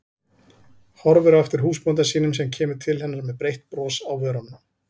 Horfir á eftir húsbónda sínum sem kemur til hennar með breitt bros á vörunum.